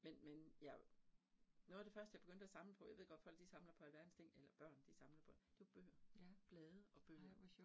Men men jeg, noget af det første, jeg begyndte at samle på, jeg ved godt folk de samler på alverdens ting eller børn de samler på, det var bøger. Blade og bøger